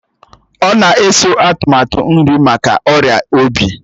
Ọ na-eso atụmatụ nri maka ọrịa obi